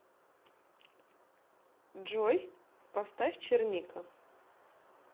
джой поставь черника